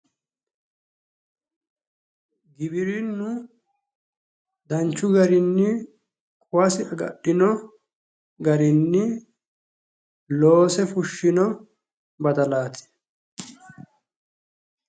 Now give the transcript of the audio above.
Giwirinnu danchu garinni quwasi agadhino garinni loose fushshino badalaati.